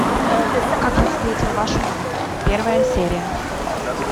как я встретил вашу маму первая серия